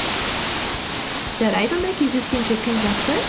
жарайды онда кездескенше күн жақсы